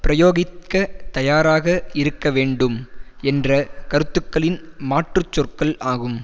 பிரயோகிக்க தயாராக இருக்க வேண்டும் என்ற கருத்துக்களின் மாற்றுச் சொற்கள் ஆகும்